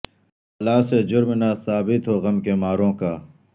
بلا سے جرم نہ ثابت ہو غم کے ماروں کا